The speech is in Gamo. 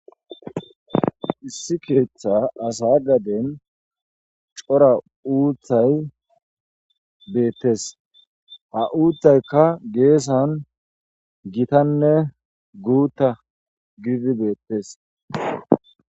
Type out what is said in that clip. Issi keeththa asa gaden coora uuthay beettes ha uuththaykka geesan gitanne guutta gididi beettes